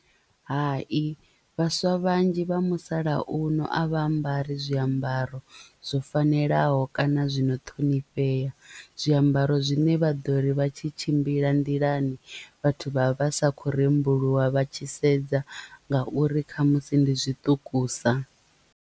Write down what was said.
Hai vhaswa vhanzhi vha musalauno a vha ambari zwiambaro zwo fanelaho kana zwino ṱhonifhea zwiambaro zwine vha ḓo ri vha tshi tshimbila nḓilani vhathu vha vha sa khou rembuluwa vha tshi sedza ngauri khamusi ndi zwiṱukusa.